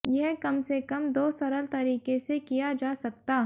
यह कम से कम दो सरल तरीके से किया जा सकता